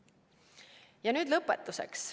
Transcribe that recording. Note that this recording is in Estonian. Ja nüüd lõpetuseks.